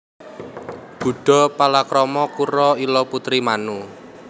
Budha palakrama karo Ila putri Manu